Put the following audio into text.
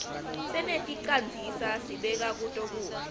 seneticandzisa sibeka kuto kudla